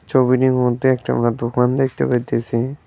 ছবিটির মধ্যে একটা আমরা দোকান দেখতে পাইতেসি।